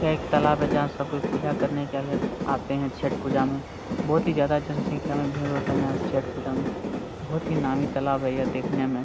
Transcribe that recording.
यह एक तालाब जहां सब कोई पूजा करने के लिए आते हैं छठ पूजा में बहुत ही ज्यादा जनसंख्या में भीड़ होता है यहां छठ पूजा में बहुत ही नामी तालाब है देखने में।